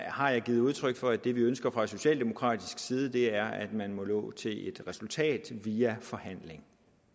har jeg givet udtryk for at det vi ønsker fra socialdemokratisk side er at man må nå til et resultat via forhandling